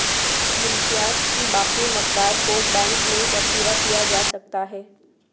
منشیات کی باقی مقدار کو بینک میں ذخیرہ کیا جا سکتا ہے